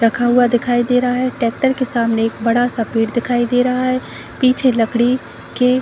रखा हुआ दिखाई दे रहा है। ट्रैक्टर के सामने एक बड़ा सा पेड़ दिखाई दे रहा है। पीछे लकड़ी के --